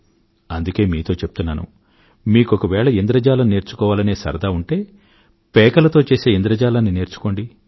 అందుకే మీతో చెప్తున్నాను మీకొకవేళ ఇంద్రజాలం నేర్చుకోవాలనే సరదా ఉంటే పేకలతో చేసే ఇంద్రజాలాన్ని నేర్చుకోండి